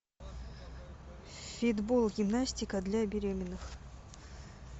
фитбол гимнастика для беременных